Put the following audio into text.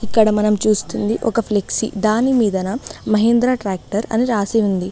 ఇక్కడ మనం చూస్తుంది ఒక ఫ్లెక్సీ దాని మీదనా మహేంద్ర ట్రాక్టర్ అని రాసి ఉంది.